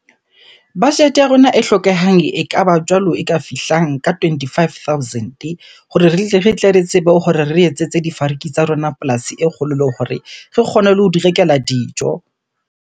Budget ya rona e hlokehang ekaba jwalo e ka fihlang ka twenty-five thousand-e hore re tle re tsebe hore re etsetse difariki tsa rona polasi e kgolo, le hore re kgone le ho di rekela dijo.